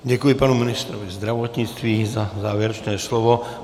Děkuji panu ministrovi zdravotnictví za závěrečné slovo.